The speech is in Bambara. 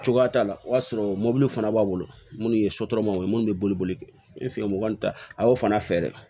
Cogoya t'a la o y'a sɔrɔ mɔbili fana b'a bolo minnu ye sotaramaw ye minnu bɛ boli boli kɛ n bɛ fɛ mɔgɔnin ta a y'o fana fɛ dɛ